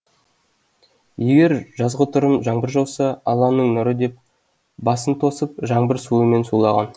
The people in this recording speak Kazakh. егер жазғытұрым жаңбыр жауса алланың нұры деп басын тосып жаңбыр суымен сулаған